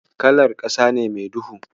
Kalar ƙasa ne mai duhu.